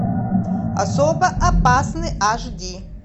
особо опасный аш ди